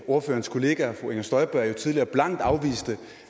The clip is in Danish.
ordførerens kollega fru inger støjberg jo tidligere blankt afviste